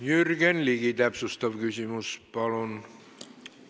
Jürgen Ligi, täpsustav küsimus, palun!